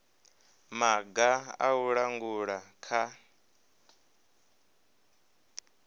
maga a u langula kha